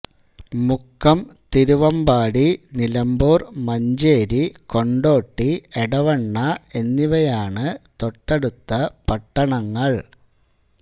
മുക്കം തിരുവമ്പാടി നിലമ്പൂർ മഞ്ചേരി കൊണ്ടോട്ടിഎടവണ്ണ എന്നിവയാണ് തൊട്ടടുത്ത പട്ടണങ്ങൾ